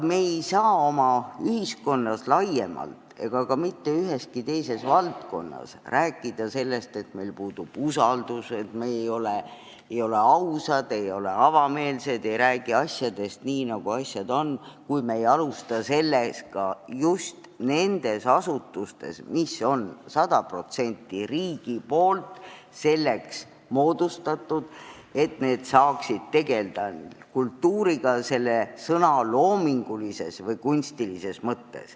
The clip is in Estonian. Me ei saa oma ühiskonnas laiemalt ega ka mitte üheski valdkonnas rääkida sellest, et meil puudub usaldus, et me ei ole ausad, ei ole avameelsed, ei räägi asjadest nii, nagu nad on, kui me ei alusta sellega just nendes asutustes, mis on 100% riigi poolt moodustatud selleks, et nad saaksid tegelda kultuuriga selle sõna loomingulises või kunstilises mõttes.